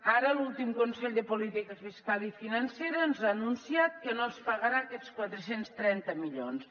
ara l’últim consell de política fiscal i financera ens ha anunciat que no ens pagarà aquests quatre cents i trenta milions